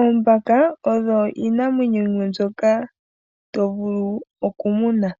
Oombaka odho iinamwenyo yimwe mbyoka to vulu oku muna.